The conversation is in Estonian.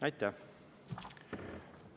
Aitäh!